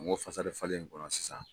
N ko falen in kɔnɔ sisan.